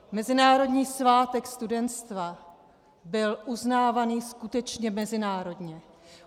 Mezinárodní svátek studentstva byl uznávaný skutečně mezinárodně.